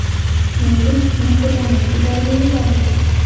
Shuningdek, mehribonlik uylariga yuborildi.